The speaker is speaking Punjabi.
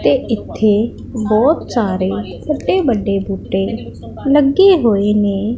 ਤੇ ਇੱਥੇ ਬਹੁਤ ਸਾਰੇ ਵੱਡੇ ਵੱਡੇ ਬੁੱਟੇ ਲੱਗੇ ਹੋਏ ਨੇ।